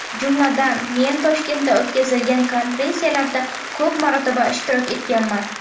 Jumladan, men Toshkentda o‘tkazilgan konferensiyalarda ko‘p marotaba ishtirok etganman.